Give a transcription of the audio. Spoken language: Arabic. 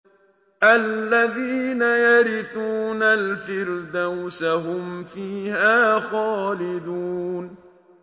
الَّذِينَ يَرِثُونَ الْفِرْدَوْسَ هُمْ فِيهَا خَالِدُونَ